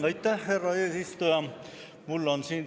Aitäh, härra eesistuja!